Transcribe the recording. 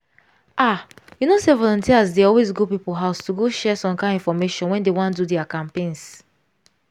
ah! you know say volunteers dey always go people house to go share some kind infomation when dey wan do dia campaigns.